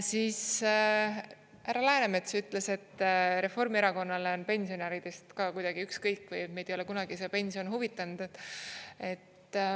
Siis härra Läänemets ütles, et Reformierakonnale on pensionäridest ka kuidagi ükskõik või meid ei ole kunagi see pension huvitanud.